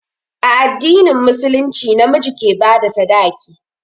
A addinin musulunci na miji ke ba da sadaki.